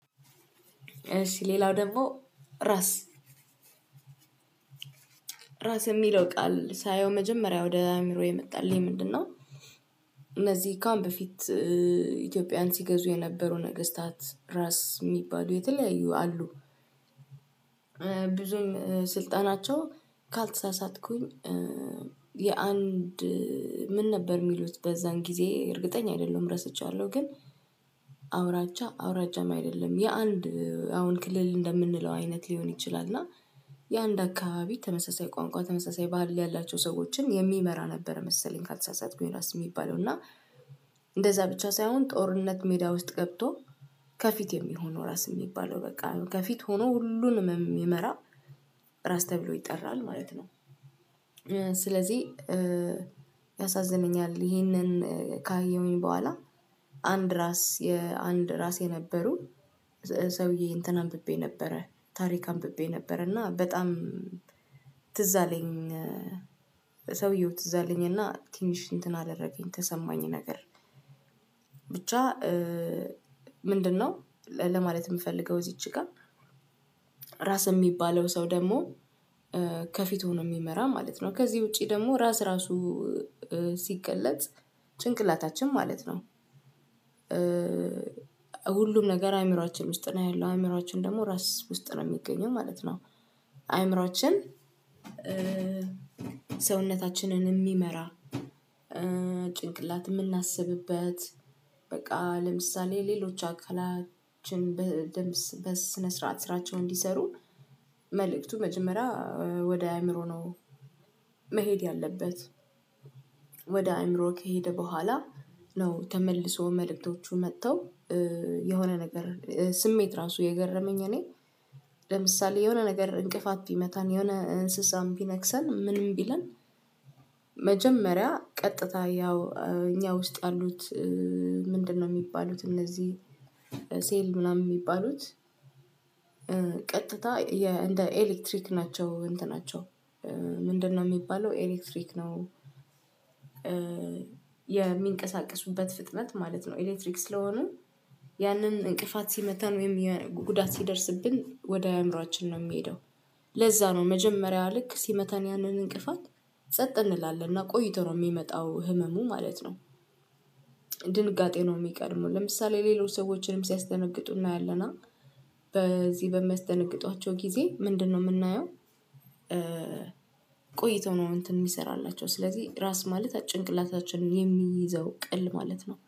እሺ ሌላው ደግሞ ራስ። ራስ የሚለው ቃል ሳየው መጀመሪያ ወደ አእምሮዬ የመጣልኝ ምንድነው። እነዚህ ከአሁን ፊት ኢትዮጵያን ሲገዙ የነበሩ ነገስታት ራስ የሚባሉ የተለያዩ አሉ። ብዙም ስልጣናቸው ካልተሳሳትኩኝ የአንድ ምን ነበር የሚሉት በዛን ጊዜ እርግጠኛ አይደለም ረስተዋለሁ ግን አውራጃ አውራጃም አይደለም የአንድ አሁን ክልል እንደምንለው አይነት ሊሆን ይችላል እና የአንድ አካባቢ ተመሳሳይ ቋንቋ ተመሳሳይ ባህል ያላቸው ሰዎችን የሚመራ ነበር መሰለኝ ካልተሳሳትኩ ይሄ ራስ የሚባለው እና እንደዛ ብቻ ሳይሆን ጦርነት ሜዳ ውስጥ ገብቶ ከፊት የሚሆነው ነው ራስ የሚባለው በቃ ከፊት ሆኖ ሁሉንም የሚመራ ራስ ተብሎ ይጠራል ማለት ነው ስለዚህ ያሳዝነኛል ይሄንን ካየሁኝ በኋላ አንድ ራስ የአንድ ራስ የነበሩ ሰውዬ እንትን አንብቤ ነበረ ታሪክ አንብቤ ነበረ እና በጣም ትዝ አለኝ ሰውየው ትዝ አለኝና ትንሽ እንትን አደረገኝ ተሰማኝ ነገር ብቻ ምንድነው ለማለት የምፈልገው እዚች ጋር ራስ የሚባለው ሰው ደግሞ ከፊቱ ነው የሚመራ ማለት ነው ከዚህ ውጪ ደግሞ ራስ ራሱ ሲገለጥ ጭንቅላታችን ማለት ነው ሁሉም ነገር አእምሮአችን ውስጥ ነው ያለው አእምሮአችን ደግሞ ራስ ውስጥ ነው የሚገኘው ማለት ነው አእምሮአችን ሰውነታችንን የሚመራ ጭንቅላት የምናስብብት በቃ ለምሳሌ ሌሎች አካላችን በስነ ስርዓት ስራቸው እንዲሰሩ መልእክቱ መጀመሪያ ወደ አእምሮ ነው መሄድ ያለበት ወደ አእምሮ ከሄደ በኋላ ነው ተመልሶ መልእክቶቹ መጥተው የሆነ ነገር ስሜት ራሱ የገረመኝ እኔ ለምሳሌ የሆነ ነገር እንቅፋት ቢመታን የሆነ እንስሳን ቢነክሰን ምንም ቢለን መጀመሪያ ቀጥታ ያው እኛ ውስጥ ያሉት ምንድነው የሚባሉት እነዚህ ሴል ምናምን የሚባሉት ቀጥታ እንደ ኤሌክትሪክ ናቸው እንትናቸው ምንድነው የሚባለው ኤሌክትሪክ ነው የሚንቀሳቀሱበት ፍጥነት ማለት ነው ኤሌክትሪክ ስለሆነ ያንን እንቅፋት ሲመታን ወይም ጉዳት ሲደርስብን ወደ አእምሮአችን ነው የሚሄደው ለዛ ነው መጀመሪያው ልክ ሲመተን ያንን እንቅፋት ጸጥ እንላለን እና ቆይቶ ነው የሚመጣው ህመሙ ማለት ነው ድንጋጤ ነው የሚቀድመው ለምሳሌ ሌሎች ሰዎችንም ሲያስደነግጡ እናያለን በዚህ በሚያስደነግጧቸው ጊዜ ምንድነው የምናየው ቆይቶ ነው እንትን የሚሰራላቸው ስለዚህ ራስ ማለት ጭንቅላታችንን የሚይዘው ቅል ማለት ነው